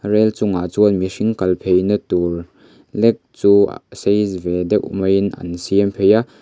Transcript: rel chungah chuan mihring kal pheina tur lek chu sei ve deuh maiin an siam phei a.